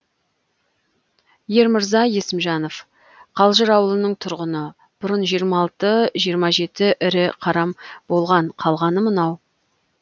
ермырза есімжанов қалжыр ауылының тұрғыны бұрын жиырма алты жиырма жеті ірі қарам болған қалғаны мынау